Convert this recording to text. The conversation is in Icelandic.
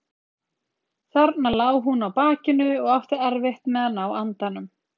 Þarna lá hún á bakinu og átti erfitt með að ná andanum.